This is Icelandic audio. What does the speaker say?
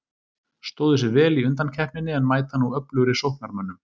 Stóðu sig vel í undankeppninni en mæta nú öflugri sóknarmönnum.